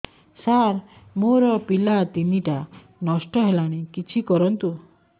ସାର ମୋର ପିଲା ତିନିଟା ନଷ୍ଟ ହେଲାଣି କିଛି କରନ୍ତୁ